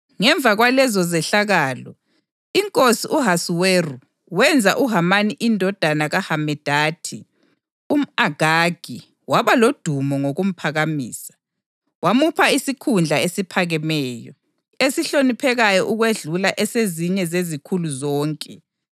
Ngemva kwalezo zehlakalo, inkosi u-Ahasuweru wenza uHamani indodana kaHamedatha umʼAgagi waba lodumo ngokumphakamisa, wamupha isikhundla esiphakemeyo, esihloniphekayo ukwedlula esezinye zezikhulu zonke.